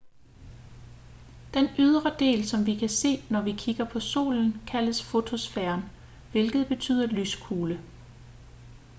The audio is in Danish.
den ydre del som vi kan se når vi kigger på solen kaldes fotosfæren hvilket betyder lyskugle